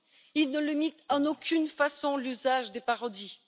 il ne limite en aucune façon l'usage des parodies